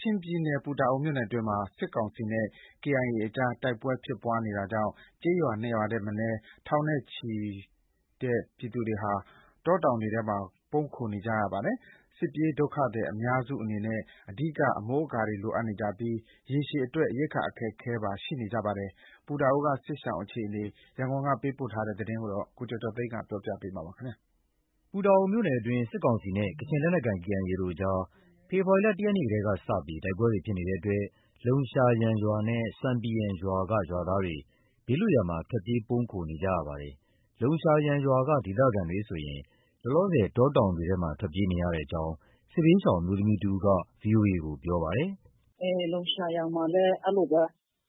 ချင်ပြည်နယ် ပူတာအိုမြို့နယ်အတွင်းမှာ စစ်ကောင်စီနဲ့ KIA အကြား တိုက်ပွဲဖြစ်ပွားနေတာကြောင့် ကျေးရွာ၂ ရွာထက်မနည်းက ထောင်နဲ့ချီတဲ့ ပြည်သူတွေဟာ တောတောင်တွေထဲမှာ ပုန်းခိုနေကြရပါတယ်။ စစ်ပြေးဒုက္ခသည်အများစုအနေနဲ့ အဓိက မိုးကာတွေလိုအပ်နေကြပြီး၊ ရေရှည်အတွက် ရိက္ခာအခက်အခဲပါ ရှိနေကြပါတယ်။ ပူတာအိုက စစ်ရှောင်တွေ အခြေအနေကို ရန်ကုန်ကသတင်းပေးပို့ထားတာကို ကိုကျော်ကျော်သိန်းက တင်ပြပေးထားပါတယ်။ ပူတာအိုမြို့နယ်အတွင်း စစ်ကောင်စီနဲ့ကချင်လက်နက်ကိုင် KIA တို့ကြား ဖေဖော်ဝါရီလ ၁ ရက်နေ့ကစပြီး တိုက်ပွဲတွေဖြစ်နေတဲ့အတွက် လုံရှာယန်ရွာနဲ့ ဆွမ်ပီယန်ရွာက ရွာသားတွေ ဘေးလွတ်ရာမှာ ထွက်ပြေးပုန်းခိုနေကြရပါတယ်။ လုံရှာယန်ရွာက ဒေသခံတွေဆိုရင် လောလောဆယ် တောတောင်တွေထဲမှာ ထွက်ပြေးနေရကြောင်း စစ်ဘေးရှောင် အမျိုးသမီးတဦးက VOA ကို ပြောပါတယ်။ “လုံရှာယန်မှာလည်း အဲလိုပဲ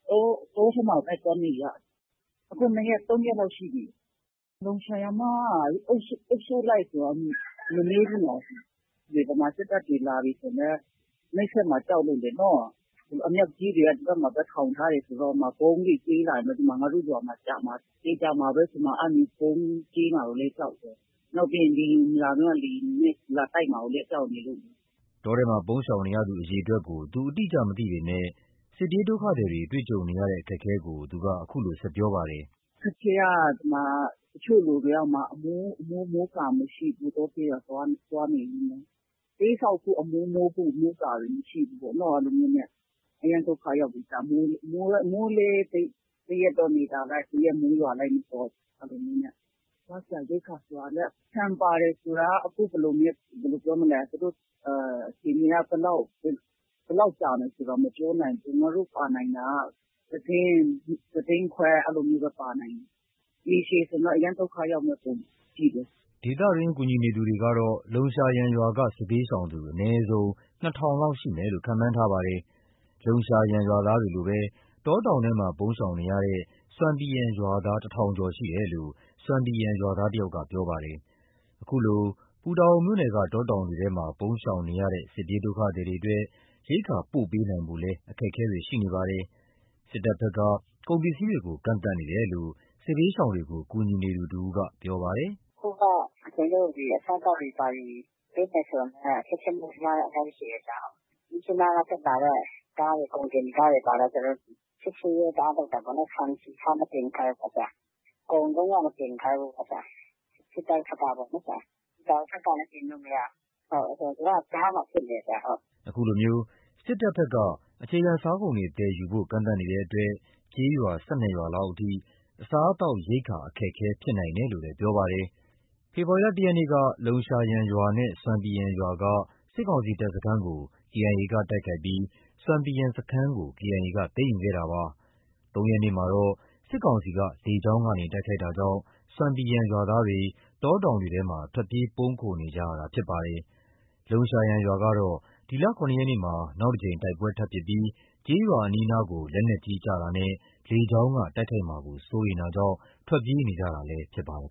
တောထဲမှာပဲ သွားနေရတာ။ ၂ ရက် ၃ ရက်လောက်ရှိပြီ။ လုံရှာယန်မှာက အုပ်စုလိုက်ဆိုတော့ မနည်းဘူးနော်။ ဗမာစစ်တပ်တွေလာပြီဆိုလည်း နှိပ်စက်မှာ ကြောက်လို့ လေနော။ အမြောက်ကြီးတွေက ဒီဘက်မှာ ထောင်ထားတော့ ဗုံးတွေကြဲလာတယ်ဆို ငါတို့ရွာမှာကျမှာ။ သေချာမှာပဲဆို။ အဲလို ဗုံးကြဲမှာကိုလည်း ကြောက်တယ်။ နောက်ပြီး လေယာဉ်လာပြီးမှ လေယာဉ်နဲ့လာတိုက်မှာလည်း ကြောက်နေလို့။” တောထဲမှာ ပုန်းရှောင်နေရသူ အရေအတွက်ကို သူ အတိအကျ မသိပေမဲ့ စစ်ပြေးဒုက္ခသည်တွေ တွေ့ကြုံနေရတဲ့ အခက်အခဲကို သူက အခုလို ဆက်ပြောပါတယ်။ “အခက်အခဲက တချို့လူတွေက ဟိုမှာ အမိုး မိုးကာမရှိဘူး။ တောထဲမှာ သွားနေပေမဲ့။ တဲဆောက်ဖို့ အမိုးမိုးဖို့ မိုးကာတွေ မရှိဘူးပေ့ါ။ အရမ်းဒုက္ခရောက်တယ်။ မိုးလည်း တရက်တော့ နေသာလိုက်၊ တရက်တော့ မိုးရွာလိုက်နဲ့။ အဲလိုမျိုးနဲ့။ စားစရာရိက္ခာဆိုတာက ဆန်ပါတယ် ဆိုတာက အခြေအနေက ဘယ်လောက် ကြာမယ်ဆိုတာ မပြောနိုင်ဘူး။ ငါတို့ ပါနိုင်တာက တတင်း။ တတင်းခွဲ အဲလိုမျိုးပဲ ပါနိုင်တာ။ ရေရှည်ဆိုရင်တော့ အရမ်းဒုက္ခရောက်မယ့် ပုံပဲ။” ဒေသတွင်း ကူညီသူတွေကတော့ လုံရှာယန်ရွာက စစ်ဘေးရှောင်သူ အနည်းဆုံး ၂,၀၀၀ လောက်ရှိမယ်လို့ ခန့်မှန်းထားပါတယ်။ လုံရှာယန်ရွာသားတွေလိုပဲ တောတောင်ထဲမှာ ပုန်းရှောင်နေရတဲ့ ဆွမ်ပီယန်ရွာသား ၁,၀၀၀ ကျော်ရှိတယ်လို့ ဆွမ်ပီယန်ရွာသားတယောက်က ပြောပြပါတယ်။ ခုလို ပူတာအိုမြို့နယ်က တောတောင်တွေထဲမှာ ပုန်းရှောင်နေရတဲ့ စစ်ပြေးဒုက္ခသည်တွေအတွက် ရိက္ခာပို့ပေးနိုင်ဖို့လည်း အခက်အခဲတွေ ရှိနေပါတယ်။ စစ်တပ်ဘက်က ကုန်ပစ္စည်းတွေကို ကန့်သတ်နေတယ်လို့ စစ်ဘေးရှောင်တွေကို ကူညီနေသူတဦးက အခုလို ပြောပါတယ်။ “အခုက ကျနော်တို့ အစားအသောက်တွေ ပေးမယ်ဆိုလည်း အခက်အခဲအများကြီးရှိတယ်။ မြစ်ကြီးနားက တက်လာတဲ့ ကားတွေ၊ ကုန်တင်ကားတွေလည်း ကျနော်တို့ စစ်ဆေးရေးတအားလုပ်တာပေါ့နော်။ ဆန်၊ ဆီ၊ ဆား မတင်ခိုင်းဘူးပေါ့။ ကုန်လုံးဝ မတင်ခိုင်ဘူးပေါ့။ စစ်တပ်ဘက်က ပေါ့နော်။ ပူတာအိုဘက်ကလည်း တင်လို့ မရဘူး။ သူက ကြားမှာ ဖြစ်နေတယ်။” ဒီလိုစစ်တပ်ဘက်က အခြေခံစားကုန်တွေ သယ်ယူဖို့ ကန့်သတ်နေတဲ့အတွက် ကျေးရွာ ၁၂ ရွာလောက်အထိ အစားအသောက် ရိက္ခာအခက်အခဲ ဖြစ်နိုင်တယ်လို့လည်း ပြောပါတယ်။ ဖေဖော်ဝါရီလ ၁ ရက်နေ့က လုံရှာယန်ရွာနဲ့ ဆွမ်ပီယန်ရွာက စစ်ကောင်စီတပ်စခန်းကို KIA က တိုက်ခိုက်ပြီး ဆွမ်ပီယန် စခန်းကို KIA က သိမ်းယူခဲ့တာပါ။ ၃ ရက်နေ့မှာတော့ စစ်ကောင်စီက လေကြောင်းကနေ တိုက်ခိုက်ခဲ့တာကြောင့် ဆွမ်ပီယန်ရွာသားတွေ တောတောင်တွေထဲကို ထွက်ပြေးပုန်းခိုနေကြရတာ ဖြစ်ပါတယ်။ လုံရှာယန်ရွာကတော့ ဒီလ ၇ ရက်နေ့မှာ နောက်တစ်ကြိမ်တိုက်ပွဲထပ်မံဖြစ်ခဲ့ပြီး ကျေးရွာအနီးအနားကို လက်နက်ကြီး ကျရောက်တာနဲ့ လေကြောင်းက တိုက်ခိုက်မှာကို စိုးရိမ်တာကြောင့် ထွက်ပြေးနေကြတာလည်း ဖြစ်ပါတယ်